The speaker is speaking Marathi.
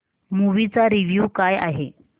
मूवी चा रिव्हयू काय आहे